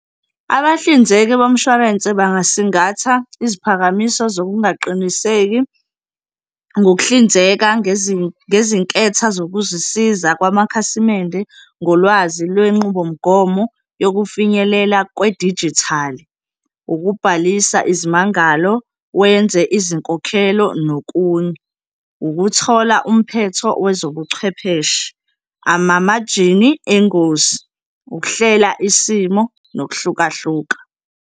Abahlinzeki bomshwalense bangasingatha iziphakamiso zokungaqiniseki ngokuhlinzeka ngezinketha zokuzisiza kwamakhasimende ngolwazi lwenqubomgomo yokufinyelela kwedijithali, ukubhalisa izimangalo, wenze izinkokhelo nokunye, ukuthola umphetho wezobuchwepheshe, amamajini engozini, ukuhlela isimo nokuhlukahluka.